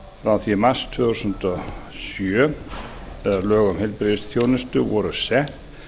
frá því í mars tvö þúsund og sjö eða lög um heilbrigðisþjónustu voru sett